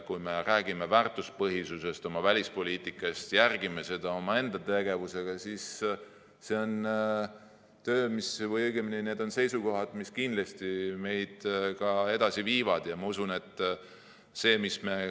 Kui me räägime väärtuspõhisusest oma välispoliitikas, järgime seda omaenda tegevusega, siis see on töö, õigemini, need on seisukohad, mis kindlasti meid edasi viivad.